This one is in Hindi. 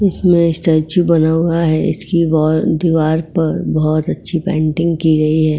इसमें स्टैचू बना हुआ है। इसकी वॉल दीवार पर बहुत अच्छी पेंटिंग की गई है।